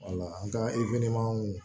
Wala an ka